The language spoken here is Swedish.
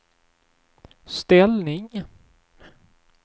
ställning